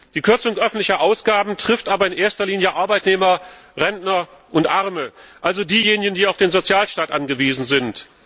Die Kürzung öffentlicher Ausgaben trifft aber in erster Linie Arbeitnehmer, Rentner und Arme, also diejenigen, die auf den Sozialstaat angewiesen sind.